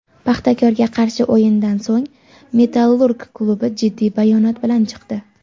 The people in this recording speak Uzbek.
"Paxtakor"ga qarshi o‘yindan so‘ng "Metallurg" klubi jiddiy bayonot bilan chiqdi.